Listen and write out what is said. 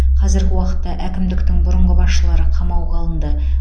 қазіргі уақытта әкімдіктің бұрынғы басшылары қамауға алынды